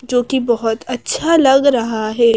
जो कि बहुत अच्छा लग रहा है।